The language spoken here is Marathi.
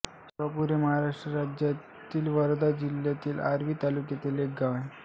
जिवापूर हे भारतातील महाराष्ट्र राज्यातील वर्धा जिल्ह्यातील आर्वी तालुक्यातील एक गाव आहे